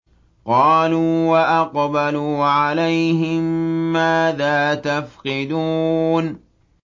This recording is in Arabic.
قَالُوا وَأَقْبَلُوا عَلَيْهِم مَّاذَا تَفْقِدُونَ